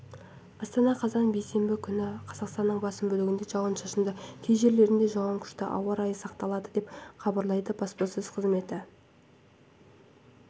астана қазан бейсенбі күні қазақстанның басым бөлігінде жауын-шашынды кей жерлерде жауын күшті ауа райы сақталады деп хабарлайды баспасөз қызметі